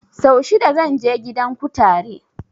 Sau shida zan je gidan kutare